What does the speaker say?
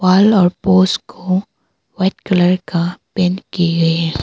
को white colour का paint किए गए है।